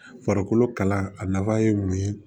Farikolo kala a nafa ye mun ye